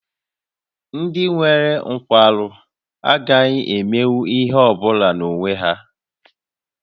Ndị nwere nkwarụ agaghị emenwu ihe ọ bụla n'onwe ha